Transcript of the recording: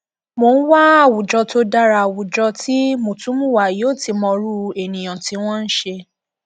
mo ń wá àwùjọ tó dara àwùjọ tí mùtúmùwà yóò ti mọrú ènìyàn tí wọn ń ṣe